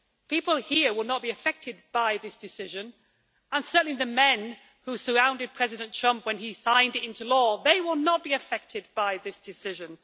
People here will not be affected by this decision, and certainly the men who surrounded President Trump when he signed it into law will not be affected by this decision.